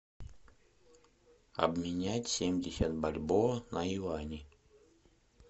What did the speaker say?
обменять семьдесят бальбоа на юани